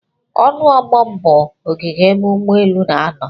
Ọnu ogbom bụ ogige ebe ụgbọ elu n'anọ.